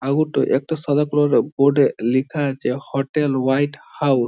এগুতো একটা সাদা কালার -এর বোর্ড -এ লিখা আছে হোটেল হোয়াট হাউস ।